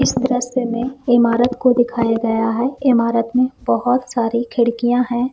इस दृश्य में इमारत को दिखाया गया है इमारत में बहुत सारे खिड़कियाँ है।